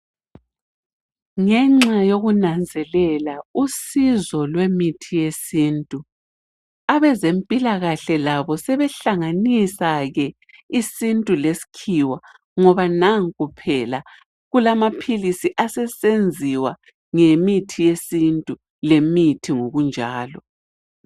Ngenxa yekunanzelela usizo lwemithi yesintu abezempilakahle labo sebehlanganisa ke isintu lesikhiwa ngoba nanku phela kulamaphilisi asesenziwa ngemithi yesintu lemithi ngokunjalo.